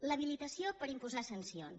l’habilitació per imposar sancions